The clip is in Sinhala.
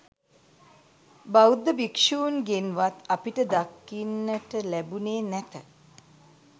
බෞද්ධ භික්ෂූන්ගෙන්වත් අපට දකින්නට ලැබුණේ නැත